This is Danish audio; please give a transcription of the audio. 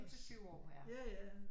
5 til 7 år